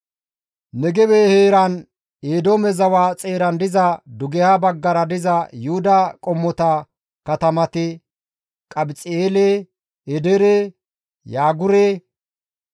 Negebe heeran Eedoome zawa xeeran diza dugeha baggara diza Yuhuda qommota katamati Qabxi7eele, Edeere, Yaagure,